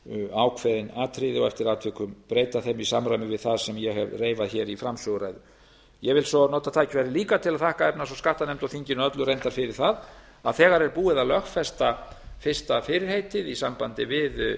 ákveðin atriði og eftir atvikum breyta þeim í samræmi við það sem ég hef reifað hér í framsöguræðu ég vil svo nota tækifærið líka til að þakka efnahags og skattanefnd og þinginu öllu reyndar fyrir það að þegar er búið að lögfesta fyrsta fyrirheitið í sambandi